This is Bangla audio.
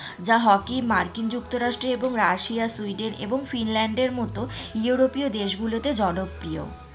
যা হকি মার্কিন যুক্তরাষ্ট্র, রাশিয়া, সুইডেন এবং ফিনল্যান্ডের মতো ইউরোপীয় দেশ গুলোতে জনপ্রিয়।